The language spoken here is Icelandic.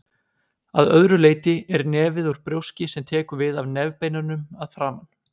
Að öðru leyti er nefið úr brjóski sem tekur við af nefbeinunum að framan.